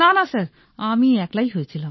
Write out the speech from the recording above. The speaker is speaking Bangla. না না স্যার আমি একলাই হয়েছিলাম